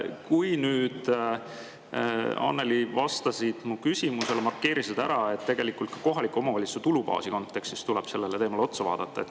Kui sa nüüd, Annely, vastasid mu küsimusele, siis sa markeerisid ära, et tegelikult ka kohalike omavalitsuste tulubaasi kontekstis tuleb sellele teemale otsa vaadata.